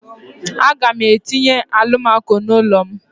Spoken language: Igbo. A ga m etinye alụmako n'ulo m.